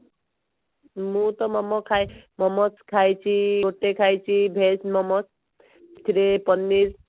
ମୁଁ ତ ମୋମୋ ଖାଏ ମୋମୋସ ଖାଇଛି ଗୋଟେ ଖାଇଛି veg ମୋମୋସ ସେଥିରେ ପନିର